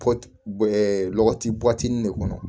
Kɔti bɔ ɛ lɔgɔti bɔtinin de kɔnɔ